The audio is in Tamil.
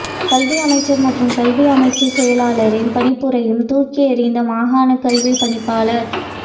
கல்வி அமைச்சர் மற்றும் கல்வி அமைச்சுச் செயலாளரின் பணிப்புரையையும் தூக்கி எறிந்த மாகாணக் கல்விப் பணிப்பாளர்